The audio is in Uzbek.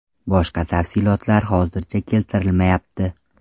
Boshqa tafsilotlar hozircha keltirilmayapti.